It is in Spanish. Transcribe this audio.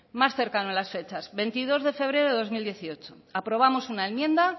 más cercano a las fechas veintidós de febrero de dos mil dieciocho aprobamos una enmienda